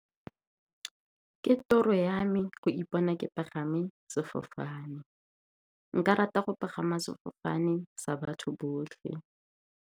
Ke toro ya me go ipona ke pagame sefofane, nka rata go pagama sefofane sa batho botlhe.